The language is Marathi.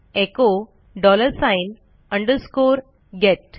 echo dollar sign underscore gate